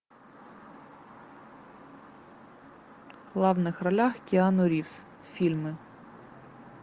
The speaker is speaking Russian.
в главных ролях киану ривз фильмы